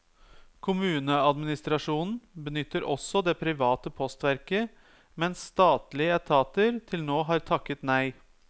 Kommuneadministrasjonen benytter også det private postverket, mens statlige etater til nå har takket nei.